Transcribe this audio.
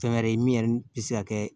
Fɛn wɛrɛ ye min yɛrɛ ni bi se ka kɛ